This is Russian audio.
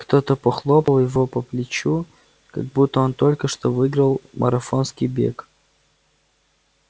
кто-то похлопал его по плечу как будто он только что выиграл марафонский бег